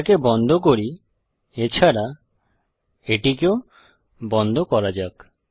এটাকে বন্ধ করি এছাড়া এটিকেও বন্ধ করা যাক